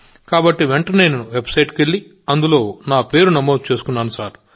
కాబట్టి వెంటనేనేనువెబ్సైట్కి వెళ్ళి అందులో నమోదు చేసుకున్నాను